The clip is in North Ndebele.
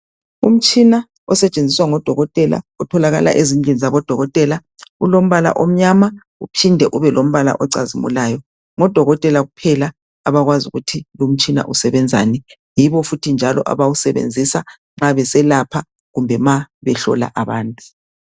Umtshina osetshenziswa ngodokotela, otholakala ezindlini zabodokotela. Ulombala omnyama, uphinde ube lombala ocazimulayo. Ngodokotela kuphela abakwazi ukuthi lomtshina usebenzani. Yibo futhi njalo abawasebenzisa nxa beselapha kumbe nxa ehlola abantu.